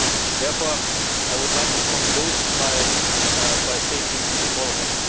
Therefore, I would like to conclude by stating the following.